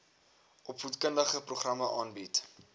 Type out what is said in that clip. opvoedkundige programme aanbied